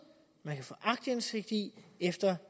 man kan få aktindsigt i efter